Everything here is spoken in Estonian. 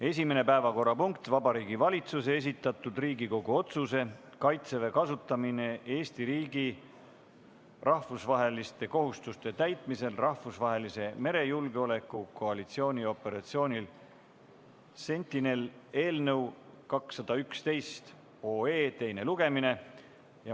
Esimene päevakorrapunkt on Vabariigi Valitsuse esitatud Riigikogu otsuse "Kaitseväe kasutamine Eesti riigi rahvusvaheliste kohustuste täitmisel rahvusvahelise merejulgeoleku koalitsiooni operatsioonil Sentinel" eelnõu 211 teine lugemine.